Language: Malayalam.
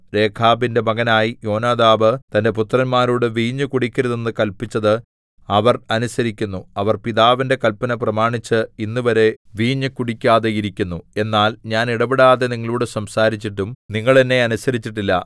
രേഖാബിന്റെ മകനായ യോനാദാബ് തന്റെ പുത്രന്മാരോട് വീഞ്ഞു കുടിക്കരുതെന്നു കല്പിച്ചത് അവർ അനുസരിക്കുന്നു അവർ പിതാവിന്റെ കല്പന പ്രമാണിച്ച് ഇന്നുവരെ വീഞ്ഞ് കുടിക്കാതെ ഇരിക്കുന്നു എന്നാൽ ഞാൻ ഇടവിടാതെ നിങ്ങളോടു സംസാരിച്ചിട്ടും നിങ്ങൾ എന്നെ അനുസരിച്ചിട്ടില്ല